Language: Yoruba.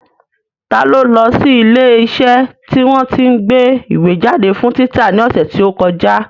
Ta ló lọ sí ilé iṣẹ́ tí wọ́n tí ń gbé ìwé jáde fún títa ní ọ̀sẹ̀ tí ó kọjá?